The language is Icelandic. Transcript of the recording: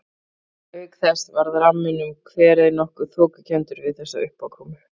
Auk þess varð ramminn um kverið nokkuð þokukenndur við þessa uppákomu.